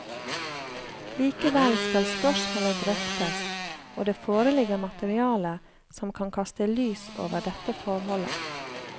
Likevel skal spørsmålet drøftes, og det foreligger materiale som kan kaste lys over dette forholdet.